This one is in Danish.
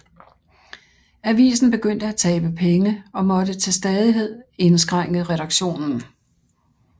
Avisen begyndte at tabe penge og måtte til stadighed indskrænke redaktionen